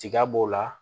Tiga b'o la